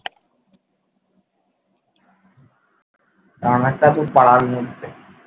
রানার তা তো পাড়ার মধ্যে